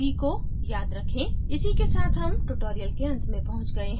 इसी के साथ हम tutorial के अंत में पहुँच गए हैं